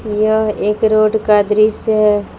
यह एक रोड का दृश्य है।